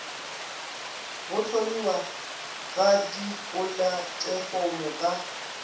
go hlomiwa ga dipolatefomo ka